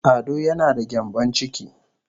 Ado yana da gyambon ciki